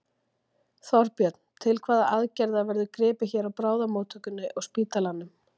Þorbjörn: Til hvaða aðgerða verður gripið hér á bráðamóttökunni og spítalanum?